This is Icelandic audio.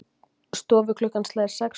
Stofuklukkan slær sex slög.